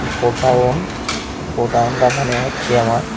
গোডাউন্ট গোডাউনটা মনে হচ্ছে আমার--